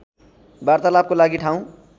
वार्तालापको लागि ठाउँ